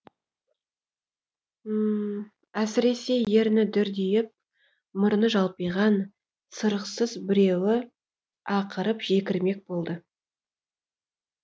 әсіресе ерні дүрдиіп мұрны жалпиған сұрықсыз біреуі ақырып жекірмек болды